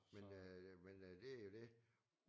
Men øh men øh det jo det